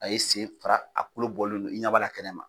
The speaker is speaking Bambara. A ye sen fara ,a kolo bɔlen don ɲɛ b'a la kɛnɛ ma.